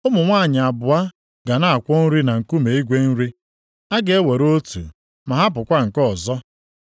Ụmụ nwanyị abụọ ga na-akwọ nri na nkume igwe nri, a ga-ewere otu, ma hapụkwa nke ọzọ.